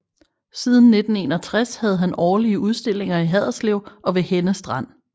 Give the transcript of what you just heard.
Siden 1961 havde han årlige udstillinger i Haderslev og ved Henne Strand